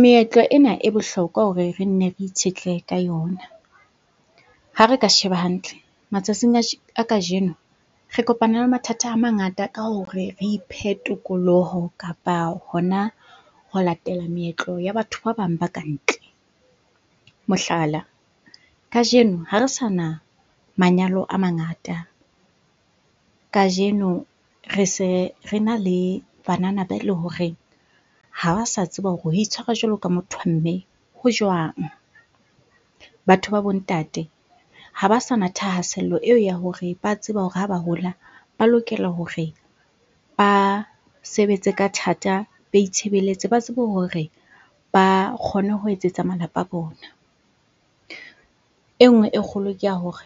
Meetlo ena e bohlokwa hore re nne re itshetlehe ka yona. Ha re ka sheba hantle, matsatsing a kajeno re kopana le mathata a mangata ka hore re iphe tokoloho kapa hona ho latela meetlo ya batho ba bang ba ka ntle. Mohlala, kajeno hare sana manyalo a mangata, kajeno re se rena le banana be le horeng ha ba sa tseba hore ho itshwara jwalo ka motho wa mme ho jwang. Batho ba bo ntate ha ba sana thahasello eo ya hore ba tseba hore ha ba hola ba lokela hore ba sebetse ka thata, ba itshebeletse, ba tsebe hore ba kgone ho etsetsa malapa a bona. E nngwe e kgolo ke ya hore,